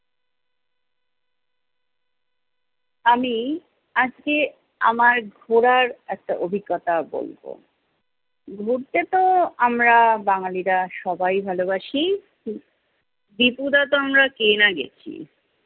আমি আজকে আমার ঘোরার একটা অভিজ্ঞতা বলবো। ঘুরতে তো আমরা বাঙালিরা সবাই ভালোবাসি। ত্রিপুরা তো আমরা কে না গেছি!